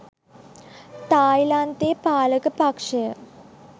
තායිලන්තයේ පාලක පක්ෂය